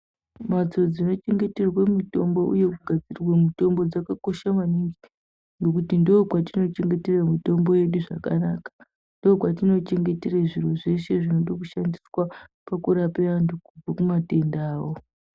Mbatso dzinochengeterwe mitombo uye kugadzirirwe mitombo dzakakosha maningi, Ngekuti ndookwatino chengetere mitombo yedu zvakanaka. Ndookwatinochengetere zviro zveshe zvinodo kushandiswa pakurape antu ane matenda awo.